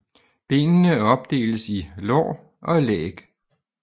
Benene opdeles i lår og læg